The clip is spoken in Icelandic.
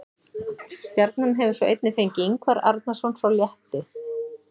Stjarnan hefur svo einnig fengið Ingvar Arnarson frá Létti.